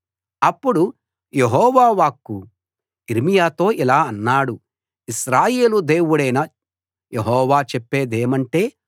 అప్పుడు యెహోవా వాక్కు యిర్మీయాతో ఇలా అన్నాడు ఇశ్రాయేలు దేవుడైన యెహోవా చెప్పేదేమంటే